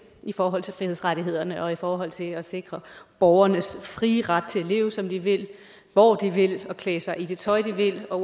i forhold til frihedsrettighederne og i forhold til at sikre borgernes frie ret til at leve som de vil og hvor de vil og klæde sig i det tøj de vil og